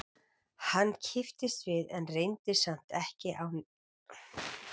Hann kipptist við en reyndi samt að láta ekki á neinu bera.